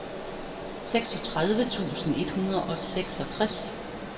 seksogtredive tusind et hundrede og seksogtres